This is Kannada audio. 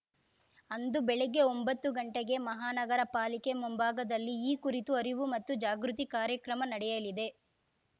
ಅಂದು ಬೆಳಗ್ಗೆ ಒಂಬತ್ತು ಗಂಟೆಗೆ ಮಹಾನಗರ ಪಾಲಿಕೆ ಮುಂಭಾಗದಲ್ಲಿ ಈ ಕುರಿತು ಅರಿವು ಮತ್ತು ಜಾಗೃತಿ ಕಾರ್ಯಕ್ರಮ ನಡೆಯಲಿದೆ